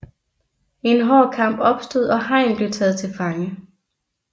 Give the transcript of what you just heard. En hård kamp opstod og Hein blev taget til fange